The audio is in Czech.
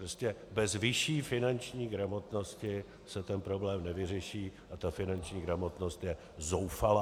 Prostě bez vyšší finanční gramotnosti se ten problém nevyřeší - a ta finanční gramotnost je zoufalá.